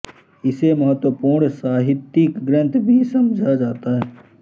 इसे महत्वपूर्ण साहित्यिक ग्रंथ भी समझा जाता है